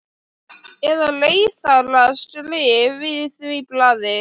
Slíkur þankagangur var Sólu ekki að skapi.